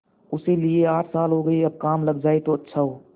उसे लिये आठ साल हो गये अब काम लग जाए तो अच्छा हो